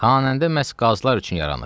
Xanəndə məhz qazılar üçün yaranıb.